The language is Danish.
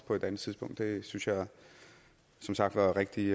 på et andet tidspunkt det synes jeg som sagt var rigtig